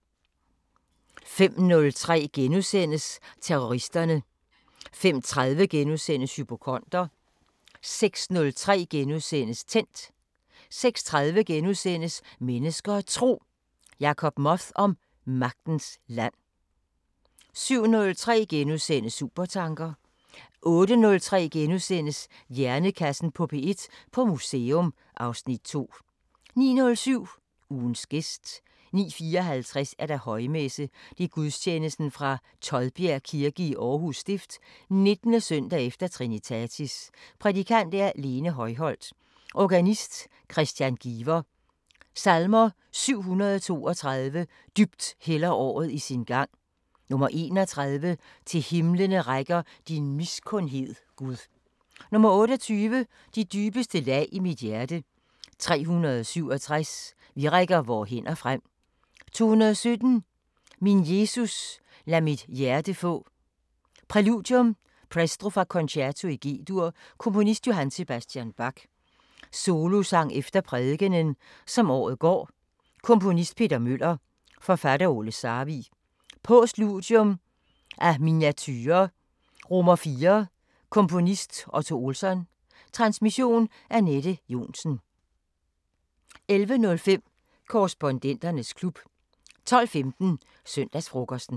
05:03: Terroristerne * 05:30: Hypokonder * 06:03: Tændt * 06:30: Mennesker og Tro: Jacob Moth om magiens land * 07:03: Supertanker * 08:03: Hjernekassen på P1: På museum (Afs. 2)* 09:07: Ugens gæst 09:54: Højmesse - Gudstjeneste fra Todbjerg Kirke, Aarhus Stift. 19. søndag efter Trinitatis. Prædikant: Lene Højholt. Organist: Kristian Giver. Salmer: 732: "Dybt hælder året i sin gang" 31: "Til himlene rækker din miskundhed, Gud" 28: "De dybeste lag i mit hjerte" 367: "Vi rækker vore hænder frem" 217: "Min Jesus, lad mit hjerte få" Præludium: Presto fra Concerto i G-dur. Komponist: J.S. Bach. Solosang efter prædikenen: "Som året går" Komponist: Peter Møller. Forfatter: Ole Sarvig. Postludium: Af Miniaturer: IV Komponist: Otto Olsson. Transmission: Anette Johnsen. 11:05: Korrespondenternes klub 12:15: Søndagsfrokosten